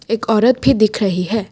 एक औरत भी दिख रही है।